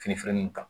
Fini filanin ta